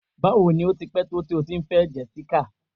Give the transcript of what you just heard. Bawo ni o ti pẹ̀ to ti o ti n fẹ Jessica?